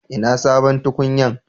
Ina sabon tukunyan?